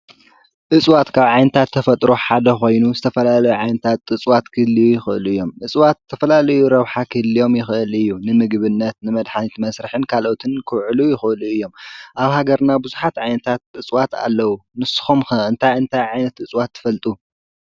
እፅዋት ካብ ዓይነታት ተፈጥሮ ሓደ ኾይኑ ዝተፈላለዩ ዓይነት ኣፅዋት ክህልዩ ይክእሉ እዮም። እፅዋት ዝተፈላለየ ረብሓ ክህልዮም ይኽእል እዩ። ንምምግብነት ንመድሓኒት መስርሒ ካልኦትን ክውዕሉ ይክእሉ እዮም። ኣብ ሃገርና ብዙሓት ዓይነት ኣፅዋት ኣለው። ንስኹም ኸ እንታይ እንታይ ዓይነት እፅዋት ትፈልጡ?